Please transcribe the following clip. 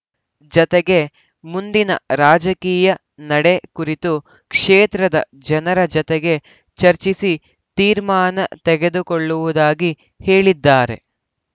ಜತೆಗೆ ಮುಂದಿನ ರಾಜಕೀಯ ನಡೆ ಕುರಿತು ಕ್ಷೇತ್ರದ ಜನರ ಜತೆಗೆ ಚರ್ಚಿಸಿ ತೀರ್ಮಾನ ತೆಗೆದುಕೊಳ್ಳುವುದಾಗಿ ಹೇಳಿದ್ದಾರೆ